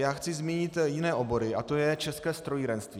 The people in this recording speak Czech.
Já chci zmínit jiné obory a to je české strojírenství.